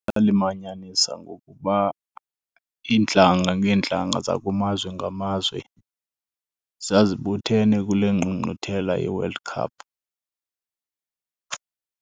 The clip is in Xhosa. Yalimanyanisa ngokuba iintlanga ngeentlanga zakumazwe ngamazwe zazibuthene kule ngqungquthela yeWorld Cup.